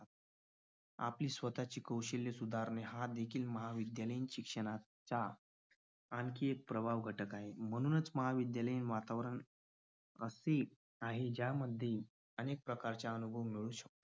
आपली स्वतःची कौशल्य सुधारणे हा देखील महाविद्यालयीन शिक्षणाचा आणखी एक प्रभावी घटक आहे म्हणूनच महाविद्यालयीन वातावरण असे आहे ज्यामध्ये अनेक प्रकारच्या